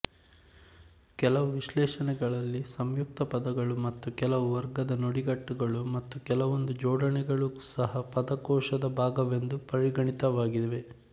ಕೆಲವು ವಿಶ್ಲೇಷಣೆಗಳಲ್ಲಿ ಸಂಯುಕ್ತ ಪದಗಳು ಮತ್ತು ಕೆಲವು ವರ್ಗದ ನುಡಿಗಟ್ಟುಗಳು ಮತ್ತು ಕೆಲವೊಂದು ಜೋಡಣೆಗಳೂ ಸಹ ಪದಕೋಶದ ಭಾಗವೆಂದು ಪರಿಗಣಿತವಾಗಿವೆ